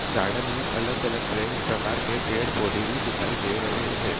Garden में अलग-अलग पेड़ प्रकार के पेड़-पौधे भी दिखाई दे रहे हैं।